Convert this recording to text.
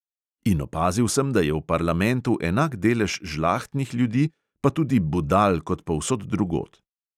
In opazil sem, da je v parlamentu enak delež žlahtnih ljudi pa tudi budal kot povsod drugod.